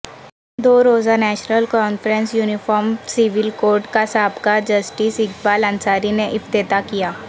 دو روزہ national conference uniform civil code کا سابقہ جسٹس اقبال انصاری نے افتتاح کیا